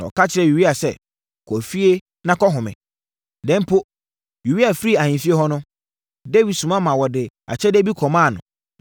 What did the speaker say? Na ɔka kyerɛɛ Uria sɛ, “Kɔ efie na kɔhome.” Na mpo, Uria firii ahemfie hɔ no, Dawid soma maa wɔde akyɛdeɛ bi kɔmaa no.